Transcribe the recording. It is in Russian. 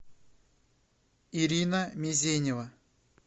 ирина мезенева